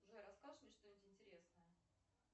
джой расскажешь мне что нибудь интересное